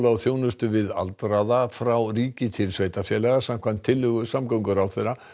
og þjónustu við aldraða frá ríki til sveitarfélaga samkvæmt tillögu samgönguráðherra